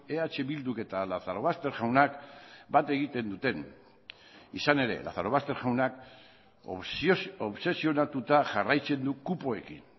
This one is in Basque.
eh bilduk eta lazarobaster jaunak bat egiten duten izan ere lazarobaster jaunak obsesionatuta jarraitzen du kupoekin